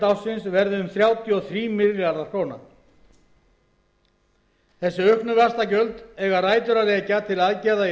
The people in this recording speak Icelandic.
ársins verði um þrjátíu og þrír milljarðar króna þessi auknu vaxtagjöld eiga rætur að rekja til aðgerða í